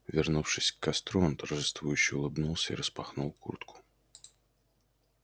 вернувшись к костру он торжествующе улыбнулся и распахнул куртку